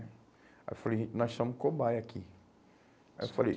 Aí eu falei, a gente nós somos cobaia aqui. Aí eu falei